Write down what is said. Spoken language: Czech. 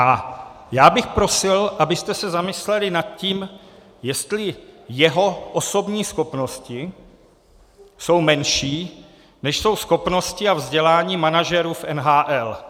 A já bych prosil, abyste se zamysleli nad tím, jestli jeho osobní schopnosti jsou menší, než jsou schopnosti a vzdělání manažerů v NHL.